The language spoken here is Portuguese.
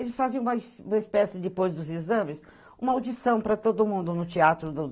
Eles faziam uma uma espécie, depois dos exames, uma audição para todo mundo no teatro do